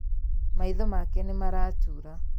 Maitho make nĩmaratura